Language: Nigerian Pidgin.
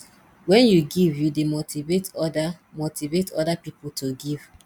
wen yu give yu dey motivate oda motivate oda pipo to give